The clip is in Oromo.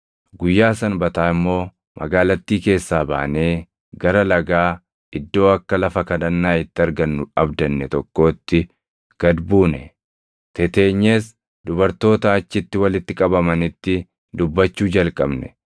Guyyaa Sanbataa immoo magaalattii keessaa baanee gara lagaa iddoo akka lafa kadhannaa itti argannu abdanne tokkootti gad buune; teteenyees dubartoota achitti walitti qabamanitti dubbachuu jalqabne.